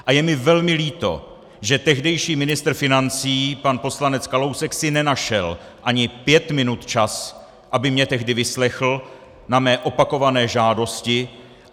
A je mi velmi líto, že tehdejší ministr financí pan poslanec Kalousek si nenašel ani pět minut čas, aby mě tehdy vyslechl na mé opakované žádosti!